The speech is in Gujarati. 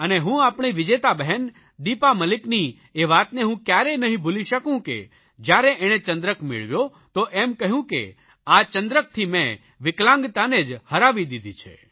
અને હું આપણી વિજેતા બહેન દિપા મલિકની એ વાતને કયારેય નહીં ભૂલી શકું કે જયારે એણે ચંદ્રક મેળવ્યો તો એમ કહ્યું કે આ ચંદ્રકથી મેં વિકલાંગતાને જ હરાવી દીધી છે